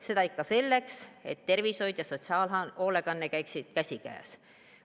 Seda ikka selleks, et tervishoid ja sotsiaalhoolekanne käiksid käsikäes.